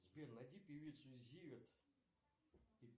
сбер найди певицу зиверт